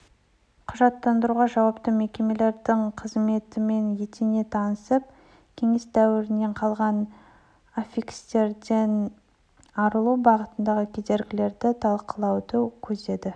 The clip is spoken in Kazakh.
құжаттандыруға жауапты мекемелердің қызметімен етене танысып кеңес дәуірінен қалған аффикстерден арылу бағытындағы кедергілерді талқылауды көздеді